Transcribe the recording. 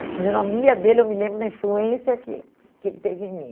A fisionomia dele, eu me lembro da influência que que ele teve em mim.